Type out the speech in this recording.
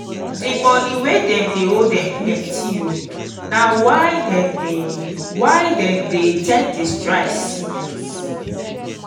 di moni wey dem owe dem plenty o na why dem dey why dem dey take di strike serious.